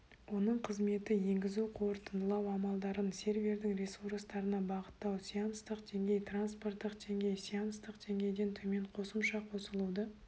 оның қызметі енгізу-қорытындылау амалдарын сервердің ресурстарына бағыттау сеанстық деңгей транспорттық деңгей сеанстық деңгейден төмен қосымша қосылуды